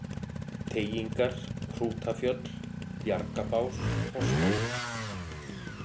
Teigingar, Hrútafjöll, Bjargabás, Hrosshæðir